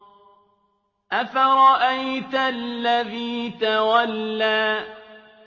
أَفَرَأَيْتَ الَّذِي تَوَلَّىٰ